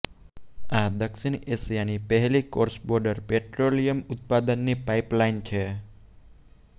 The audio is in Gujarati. આ દક્ષિણ એશિયાની પહેલી ક્રોસ બોર્ડર પેટ્રોલિયમ ઉત્પાદનની પાઈપલાઈન છે